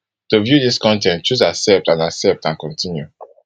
to view dis con ten t choose accept and accept and continue